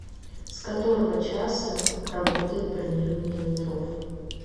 с которого часа работает бронирование номеров